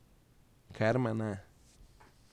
Ker me ne.